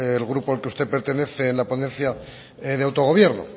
el grupo al que usted pertenece en la ponencia de autogobierno